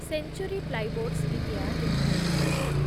century Plyboards India limited